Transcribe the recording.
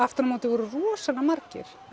aftur á móti voru rosalega margir